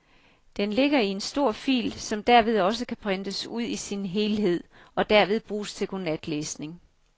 Den ligger i en stor fil, som derved også kan printes ud i sin helhed og derved bruges til godnatlæsning.